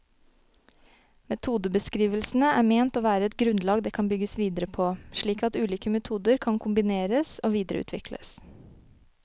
Metodebeskrivelsene er ment å være et grunnlag det kan bygges videre på, slik at ulike metoder kan kombineres og videreutvikles.